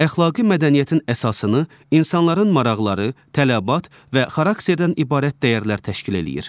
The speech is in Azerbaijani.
Əxlaqi mədəniyyətin əsasını insanların maraqları, tələbat və xarakterdən ibarət dəyərlər təşkil eləyir.